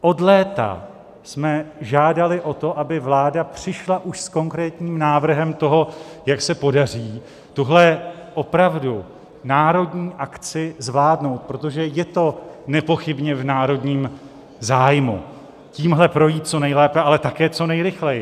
Od léta jsme žádali o to, aby vláda přišla už s konkrétním návrhem toho, jak se podaří tuhle opravdu národní akci zvládnout, protože je to nepochybně v národním zájmu tímhle projít co nejlépe, ale také co nejrychleji.